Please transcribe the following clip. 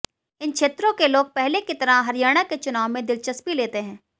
इन क्षेत्रों के लोग पहले की तरह हरियाणा के चुनाव में दिलचस्पी लेते हैं